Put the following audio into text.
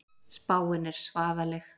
Spáin er svaðaleg.